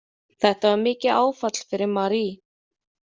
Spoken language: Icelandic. Þetta var mikið áfall fyrir Marie.